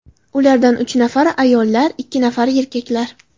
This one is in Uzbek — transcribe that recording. Ulardan uch nafari ayollar, ikki nafari erkaklar.